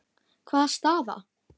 Hvaða staða?